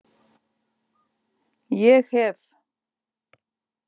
Ég hef.